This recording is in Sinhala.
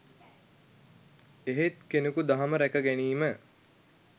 එහෙත් කෙනෙකු දහම රැක ගැනීම